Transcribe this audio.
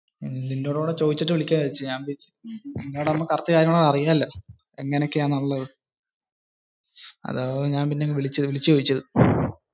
നിന്നോടുംകൂടി ചോയിച്ചിട്ടു വിളികാം എന്ന് വെച്ച് ഞാൻ. അങ്ങനെ ആവുമ്പൊ correct കാര്യങ്ങളൊക്കെ അറിയാലോ. എങ്ങനെ ഒക്കെയാ നല്ലതു. അതാ പിന്നെ ഞാൻ അങ്ങ് വിളിച്ചു ചോയ്ച്ചത്.